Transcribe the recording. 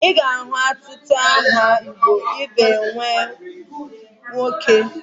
Ị ga-ahụ ọtụtụ aha igbo ị ga-enye nwa gị nwoke